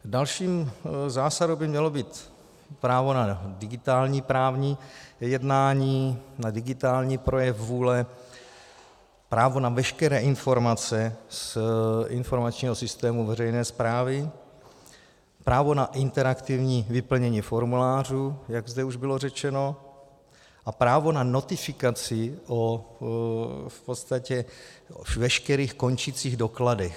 Další zásadou by mělo být právo na digitální právní jednání, na digitální projev vůle, právo na veškeré informace z informačního systému veřejné správy, právo na interaktivní vyplnění formulářů, jak zde už bylo řečeno, a právo na notifikaci o v podstatě veškerých končících dokladech.